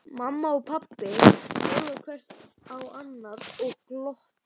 Mamma og pabbi horfa hvort á annað og glotta.